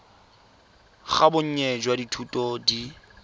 ga bonnye jwa dithuto di